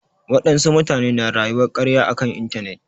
Wadansu mutane na rayuwar karya a kan intanet.